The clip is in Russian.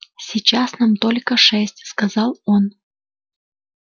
сейчас нам только шесть сказал он